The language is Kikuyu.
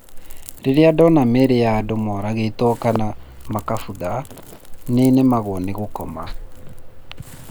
Rĩrĩa ndona mĩĩrĩ ya andũ mooragĩtwo kana makĩbutha, nĩ nemagwo nĩ gũkoma.